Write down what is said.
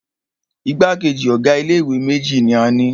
Igbákejì ọ̀ga ilé ìwé méjì ní a ni.